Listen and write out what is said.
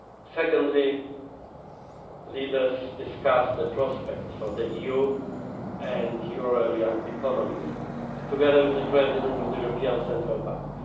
Secondly, leaders discussed the prospects for the EU and euro area economies, together with the President of the European Central Bank.